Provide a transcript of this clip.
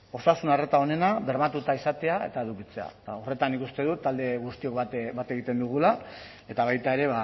osasun arreta onena bermatuta izatea eta edukitzea eta horretan nik uste dut talde guztiok bat egiten dugula eta baita ere